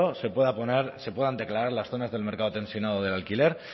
se pueda poner se puedan declarar las zonas del mercado tensionado del alquiler